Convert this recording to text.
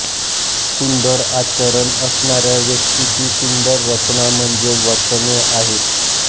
सुंदर आचरण असणाऱ्या व्यक्तीची सुंदर रचना म्हणजे वचने आहेत